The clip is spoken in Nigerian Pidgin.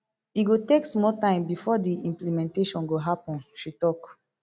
e go take small time bifor di implementation go happen she tok